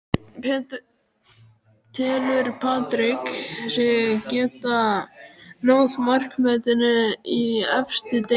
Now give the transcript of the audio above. Telur Patrick sig geta náð markametinu í efstu deild?